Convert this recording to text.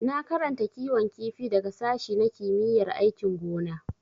Na karanta kiwon kifi daga sashi na kimiyyar aikin gona.